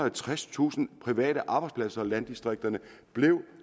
og tredstusind private arbejdspladser og landdistrikterne blev